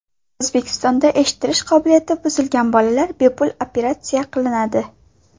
O‘zbekistonda eshitish qobiliyati buzilgan bolalar bepul operatsiya qilinadi.